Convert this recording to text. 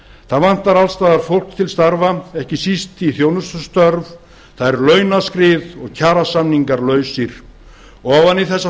það vantar alls staðar fólk til starfa ekki síst í þjónustustörf það er launaskrið og kjarasamningar lausir ofan í þessa